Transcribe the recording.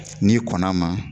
N'i kɔnn'a ma